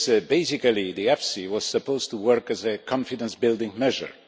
Basically, EFSI was supposed to work as a confidence building measure.